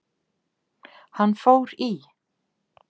Hann fór í